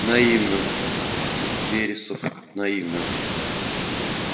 наивно вересов наивно